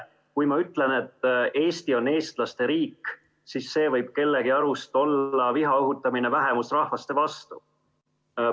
Kui ma ütlen, et Eesti on eestlaste riik, siis see võib kellegi arust olla viha õhutamine vähemusrahvuste vastu.